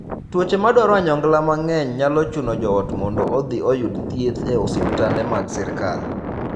Tuoche ma dwaro onyongla mang'eny nyalo chuno joot mondo odhi oyud thieth e osiptende mag sirkal.